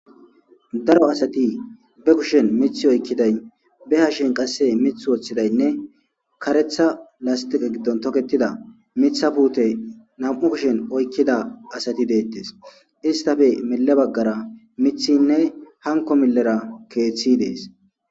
daro asati be kushen mith oykkiday be hashen qasse mith woththidaynne karetha lastiqe giddon toketida mitha puute nam7u kushen oykkida asati deettes istafe mile baggara mithinne hanko millera keeththi dees